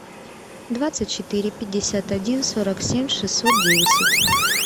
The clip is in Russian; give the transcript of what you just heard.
двадцать четыре пятьдесят один сорок семь шестьсот десять